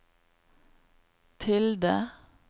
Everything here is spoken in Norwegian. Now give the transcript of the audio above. tilde